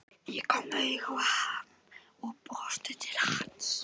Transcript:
Hún kom auga á hann og brosti til hans.